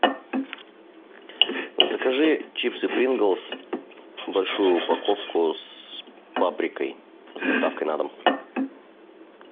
закажи чипсы принглс большую упаковку с паприкой с доставкой на дом